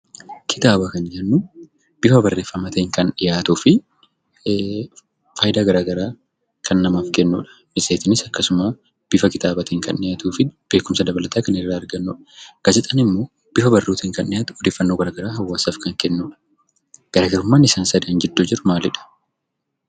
Kitaaba kan jennu bifa barreeffamaatiin kan dhiyaatuu fi faayidaa garaagaraa kan namaaf kennuu dha. Matseetiinis akkasuma bifa kitaabaatiin kan dhiyaatuu fi beekumsa dabalataa kan irraa argannuu dha. Gaazexaan immoo bifa barruutiin kan dhiyaatu odeeffannoo garaagaraa hawaasaaf kan kennuu dha. Garaagarummaan isaan sadan gidduu jiru maali dha?